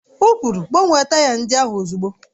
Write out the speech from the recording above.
O kwuru, gbanwee taya ndị ahụ ozugbo!